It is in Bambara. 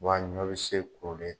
Wa a ɲɔ bɛ se kolen.